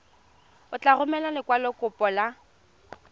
o tla romela lekwalokopo la